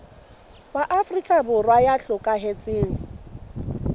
wa afrika borwa ya hlokahetseng